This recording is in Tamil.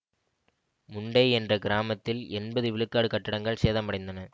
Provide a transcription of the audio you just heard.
முண்டெய் என்ற கிராமத்தில் எண்பது விழுக்காடு கட்டடங்கள் சேதமடைந்தன